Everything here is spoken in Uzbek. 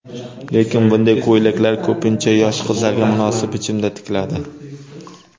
Lekin, bunday ko‘ylaklar ko‘pincha yosh qizlarga munosib bichimda tikiladi.